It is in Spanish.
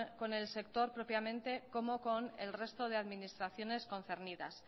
con el sector propiamente como con el resto de administraciones concernidas